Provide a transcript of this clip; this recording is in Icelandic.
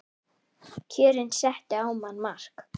Kjörin settu á manninn mark